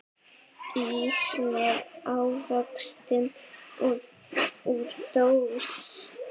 Ís með ávöxtum úr dós.